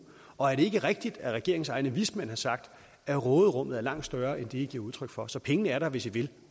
og er det ikke rigtigt at regeringens egne vismænd har sagt at råderummet er langt større end det i giver udtryk for så pengene er der hvis i vil